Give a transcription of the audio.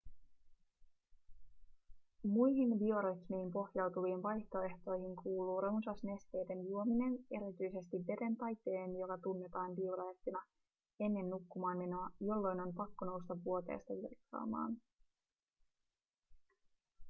muihin biorytmiin pohjautuviin vaihtoehtoihin kuuluu runsas nesteiden juominen erityisesti veden tai teen joka tunnetaan diureettina ennen nukkumaanmenoa jolloin on pakko nousta vuoteesta virtsaamaan